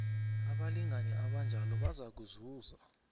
abalingani abanjalo bazakuzuza